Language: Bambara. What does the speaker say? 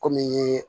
Kɔmi ye